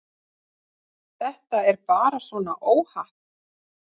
Þetta er bara svona óhapp.